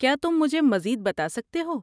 کیا تم مجھے مزید بتا سکتے ہو؟